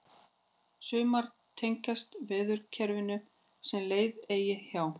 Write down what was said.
sumar tengjast veðrakerfum sem leið eiga hjá